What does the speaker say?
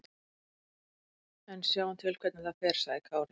En við sjáum til hvernig það fer, sagði Kári.